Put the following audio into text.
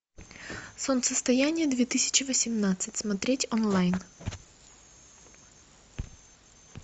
солнцестояние две тысячи восемнадцать смотреть онлайн